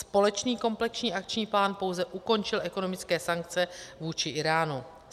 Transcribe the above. Společný komplexní akční plán pouze ukončil ekonomické sankce vůči Íránu.